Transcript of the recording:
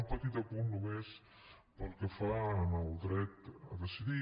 un petit apunt només pel que fa al dret a decidir